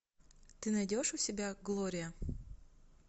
ты найдешь у себя глория